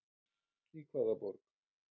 Í hvaða borg?